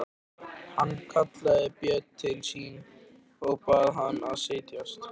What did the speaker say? Hann kallaði Björn til sín og bað hann setjast.